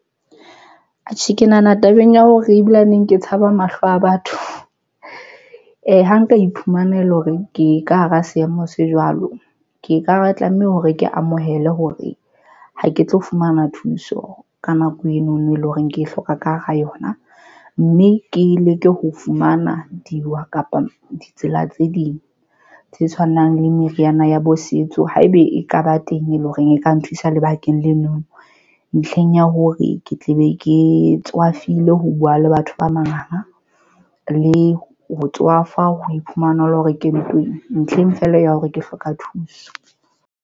Atjhe, ke nahana tabeng ya hore ebile neng ke tshaba mahlo a batho ha nka iphumana ele hore ke ka hara seemo se jwalo, ke ka hara tlameha hore ke amohele hore ha ke tlo fumana thuso ka nako eno no e leng hore ke hloka ka hara yona mme ke leke ho fumana diwa kapa ditsela tse ding tse tshwanang le meriana ya bo setso haebe e ka ba teng, e leng hore hore e ka nthusa lebakeng leno ntlheng ya hore ke tle be ke tswa khavile, ho buwa le batho ba mariha le ho tswafa, ho iphumanela hore ke ntweng ntlheng feela ya hore ke hloka thuso.